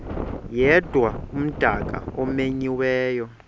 yedwa umdaka omenyiweyo